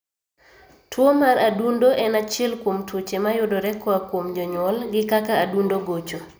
Tuo mar adundo en achiel kuom tuoche mayudore koa kuom jonyuol gi kaka adundo gocho